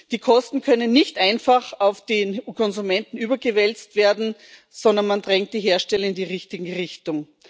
Die Kosten können nicht einfach auf den Konsumenten überwälzt werden, sondern man drängt die Hersteller in die richtige Richtung.